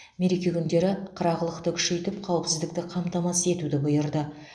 мереке күндері қырағылықты күшейтіп қауіпсіздікті қамтамасыз етуді бұйырды